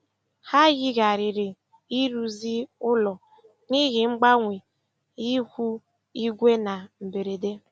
Ha yigharịrị ịrụzi ụlọ n'ihi mgbanwe ihu igwe na mberede.